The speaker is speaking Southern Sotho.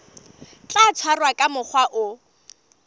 tla tshwarwa ka mokgwa o